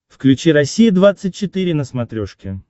включи россия двадцать четыре на смотрешке